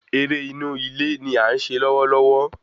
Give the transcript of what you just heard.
Eré inú ilé ní à ń se lọwọlọwọ